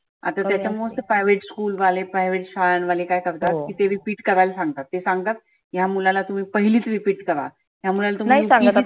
आता त्याच्यामुळ तर private school वाले private शाळांवाले काय करतात ते repeat करायला सांगतात. ते सांगतात ह्या मुलाला तुम्ही पहिलीत repeat करा. ह्या मुलाला